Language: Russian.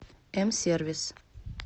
м сервис